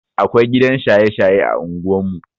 Akwai gidan shaye-shaye a unguwan mu.